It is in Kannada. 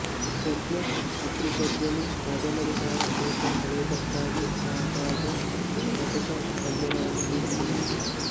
ಬೆಂಟ್ಲೆ ಪತ್ರಿಕೋದ್ಯಮಿ ಕಾದಂಬರಿಕಾರ ಬೇಸರ ಕಳೆಯುವುದಕ್ಕಾಗಿ ಆಗಾಗ ಚುಟಕ ಪದ್ಯಗಳನ್ನು ಗೀಚಿದನಂತೆ